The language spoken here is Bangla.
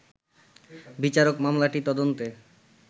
বিচারক মামলাটি তদন্তে